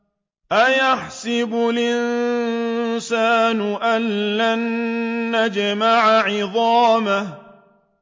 أَيَحْسَبُ الْإِنسَانُ أَلَّن نَّجْمَعَ عِظَامَهُ